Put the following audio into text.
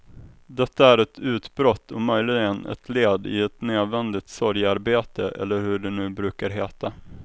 Detta är ett utbrott och möjligen ett led i ett nödvändigt sorgearbete eller hur det nu brukar heta.